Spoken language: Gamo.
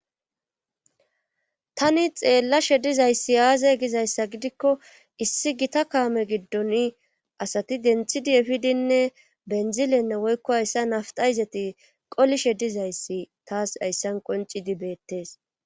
tani xeellashe dizayssi aaza gizayssa gidikko issi gita kaame giddon asati denthidi efidinne benzilenne woykko hayssa naftayzati qolishe dizayssi taas hayssan qoncidi beettees